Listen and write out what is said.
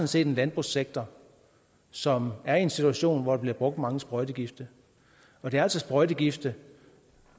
set en landbrugssektor som er i en situation hvor der bliver brugt mange sprøjtegifte og det er altså sprøjtegifte